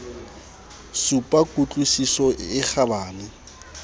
supa ku tlwisiso e kgabane